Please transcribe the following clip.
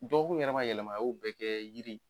Dɔgɔkun yɛrɛ ma yɛlɛma a y'o bɛɛ kɛ yiri